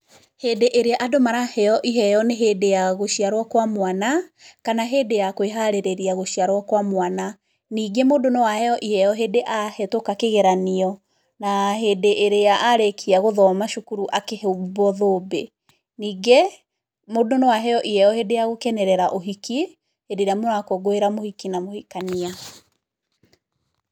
Hĩndĩ ĩrĩa andũ maraheo iheo nĩ hĩndĩ ya gũciarwo kwa mwana, kana hĩndĩ ya kũĩharĩrĩria gũciarwo kwa mwana, ningĩ mũndũ no aheo iheo hĩndĩ ahetũka kĩgeranio, na hĩndĩ ĩrĩa arĩkia gũthoma cukuru akĩhumbwo thũmbĩ, ningĩ, mũndũ no aheo iheo hĩndĩ ya gũkenerera ũhiki, hĩndĩ ĩrĩa mũrakũngũĩra mũhiki na mũhikania.